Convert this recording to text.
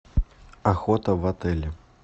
охота в отеле